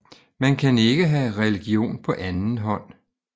Man kan ikke have religion på anden hånd